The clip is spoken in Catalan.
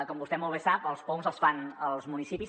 com vostè molt bé sap els poums els fan els municipis